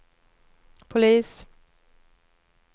polis